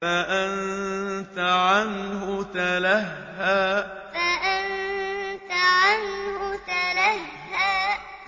فَأَنتَ عَنْهُ تَلَهَّىٰ فَأَنتَ عَنْهُ تَلَهَّىٰ